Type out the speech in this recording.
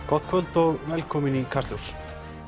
gott kvöld og velkomin í Kastljós